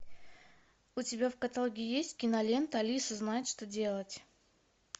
у тебя в каталоге есть кинолента алиса знает что делать